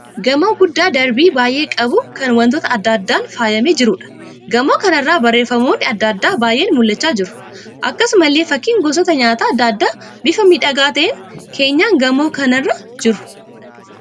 Gamoo guddaa darbii baay'ee qabu kan wantoota adda addaan faayyamee jiruudha. Gamoo kana irra barreeffamoonni adda addaa baay'een mul'achaa jiru. Akkasumallee fakkiin gosoota nyaata adda addaa bifa miidhagaa ta'een keenyan gamoo kanaa irra jiru.